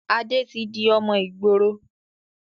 Adé tí di ọmọ ìgboro